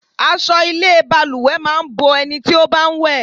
Aṣọ ilé balùwẹ̀ máa ń bo ẹni tí ó bá ń wẹ̀.